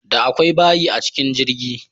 Da akwai bayi a cikin jirgi.